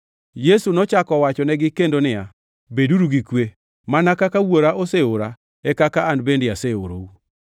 Yesu nochako owachonegi kendo niya, “Beduru gi kwe! Mana kaka Wuora oseora e kaka an bende aorou.”